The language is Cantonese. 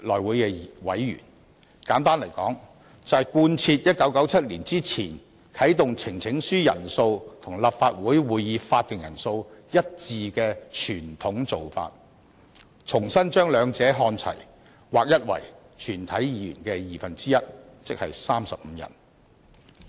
簡言之，我們提出修訂，就是貫徹1997年前啟動呈請書人數與立法會會議法定人數一致的傳統做法，重新把兩者看齊，劃一為全體議員的二分之一，即35人。